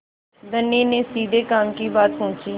धनी ने सीधे काम की बात पूछी